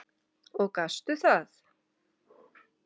Og gastu það?